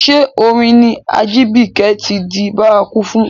Ṣé orin ni Ajibike ti di bárakú fún?